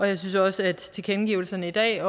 jeg synes også at tilkendegivelserne i dag